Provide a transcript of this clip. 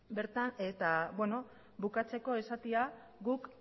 eta beno bukatzeko esatea guk